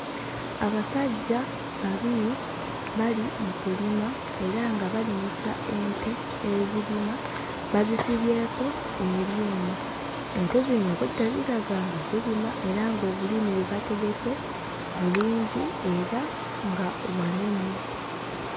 Abasajja babiri bali mu kulima era nga balimisa ente ezirima bazisibyeko ebyuma ente zino obwedda ziraga nga zirima era ng'obulime bwe bategese bulungi era nga wanene.